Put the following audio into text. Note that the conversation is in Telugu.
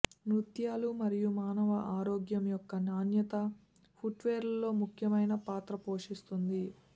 నృత్యాలు మరియు మానవ ఆరోగ్యం యొక్క నాణ్యత ఫుట్వేర్లో ముఖ్యమైన పాత్ర పోషిస్తుంది